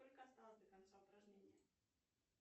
сколько осталось до конца упражнения